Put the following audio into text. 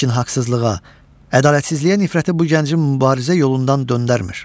Lakin haqsızlığa, ədalətsizliyə nifrəti bu gəncin mübarizə yolundan döndərmir.